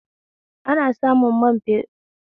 Ana samun man shafawa basilin daga tataccen albarkatun mai